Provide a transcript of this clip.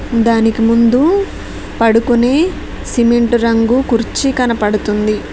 దానికి ముందు పడుకునే సిమెంటు రంగు కుర్చీ కనపడుతుంది.